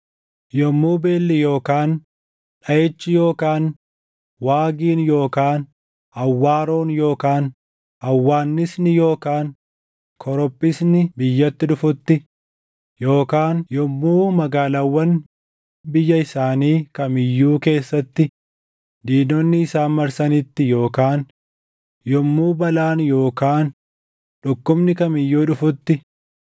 “Yommuu beelli yookaan dhaʼichi yookaan waagiin yookaan awwaaroon yookaan hawwaannisni yookaan korophisni biyyatti dhufutti, yookaan yommuu magaalaawwan biyya isaanii kam iyyuu keessatti diinonni isaan marsanitti, yookaan yommuu balaan yookaan dhukkubni kam iyyuu dhufutti,